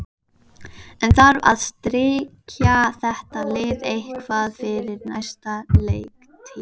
En þarf að styrkja þetta lið eitthvað fyrir næstu leiktíð?